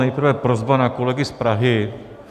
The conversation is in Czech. Nejprve prosba na kolegy z Prahy.